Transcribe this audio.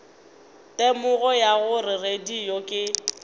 temogo ya gore radio ke